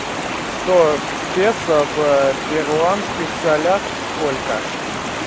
сто песо в перуанских солях сколько